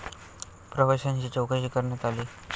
प्रवाशाची चौकशी करण्यात आली.